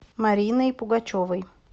мариной пугачевой